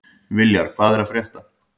Viljar, hvað er að frétta?